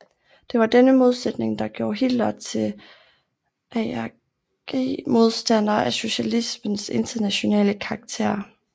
Det var denne modsætning der gjorde Hitler til arg modstander af socialismens internationale karakter